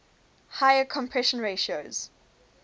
higher compression ratios